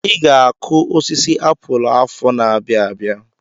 I ga-akụ osisi apụl afọ n'abia abịa.